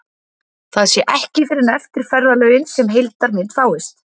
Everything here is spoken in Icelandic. Það sé ekki fyrr en eftir ferðalögin sem heildarmynd fáist.